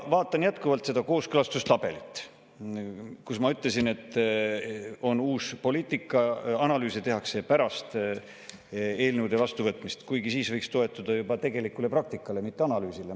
Vaatan jätkuvalt seda kooskõlastustabelit, kus, ma ütlesin, on näha uut poliitikat, analüüse tehakse pärast eelnõude vastuvõtmist, kuigi siis võiks toetuda juba tegelikule praktikale, mitte analüüsile.